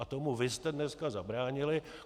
A tomu vy jste dneska zabránili.